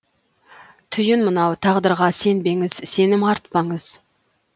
түйін мынау тағдырға сенбеңіз сенім артпаңыз